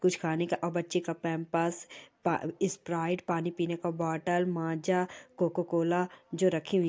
--कुछ खाने का और बच्चे का पैंपर्स पा स्प्राइट पानी पीने का बॉटल माँजा कोको कोला जो रखी हुई--